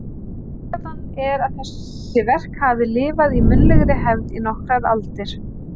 Tilgátan er að þessi verk hafi lifað í munnlegri hefð í nokkrar aldir.